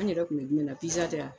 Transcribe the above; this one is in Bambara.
An yɛrɛ tun bɛ jumɛn na tɛ wa